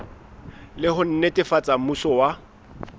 le ho netefatsa mmuso wa